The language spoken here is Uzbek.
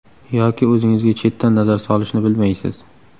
Yoki o‘zingizga chetdan nazar solishni bilmaysiz.